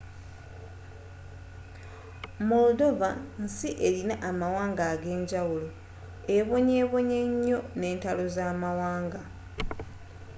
moldova nsi erina amawanga ag'enjawulo ebonyebonye enyoo n'entalo zamawanga